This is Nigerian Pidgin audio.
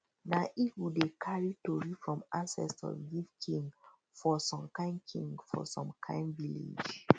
nah eagle dey cary tory from ancestors give king for some king for some kind village